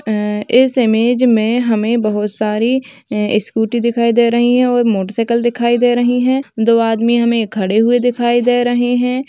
ऐं इस इमेज में हमें बहोत सारी स्कूटी दिखाई दे रही हैं मोटरसाइकल दिखाई दे रही हैं। दो आदमी हमें खड़े हुए दिखाई दे रहे हैं।